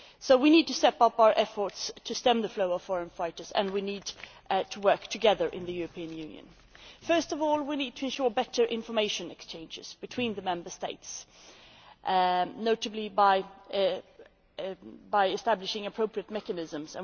We need to step up our efforts to stem the flow of foreign fighters and we need to work together in the European Union. First of all, we need to ensure better information exchanges between the Member States, notably by establishing appropriate mechanisms.